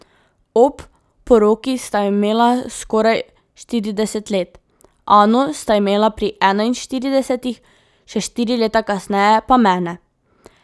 Ob poroki sta imela skoraj štirideset let, Ano sta imela pri enaištiridesetih, še štiri leta kasneje pa mene.